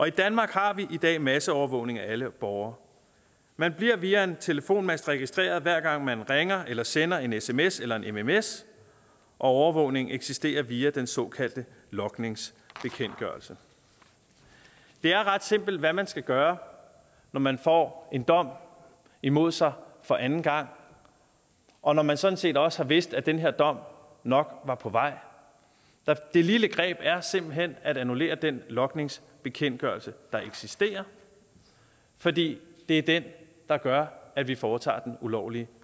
i danmark har vi i dag masseovervågning af alle borgere man bliver via en telefonmast registreret hver gang man ringer eller sender en sms eller en mms og overvågningen eksisterer via den såkaldte logningsbekendtgørelse det er ret simpelt hvad man skal gøre når man får en dom imod sig for anden gang og når man sådan set også har vidst at den her dom nok var på vej det lille greb er simpelt hen at annullere den logningsbekendtgørelse der eksisterer fordi det er den der gør at vi foretager den ulovlige